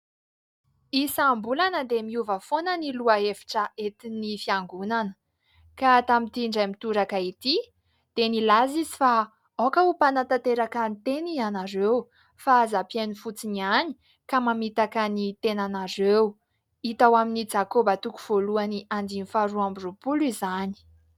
Isambolana dia miova foana ny lohahevitra entiny fiangonana ka tamin'ity indray mitoraka ity dia nilaza izy « fa aoka ho mpanatanteraka ny teny ianareo fa aza mpihaino fotsiny ihany ka mamitaka ny tenanareo » hita ao aminy jakoba toko voalohany andinin'ny faha roa amby roapolo izany.